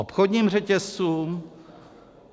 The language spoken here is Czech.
Obchodním řetězcům?